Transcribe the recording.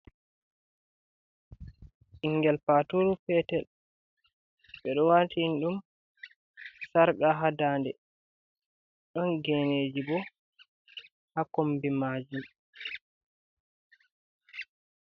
Ɓingel paturu peetel. Ɓe ɗo watini ɗum sarka haa daɲde. Ɗon geeneeji boo haa kombi maajum.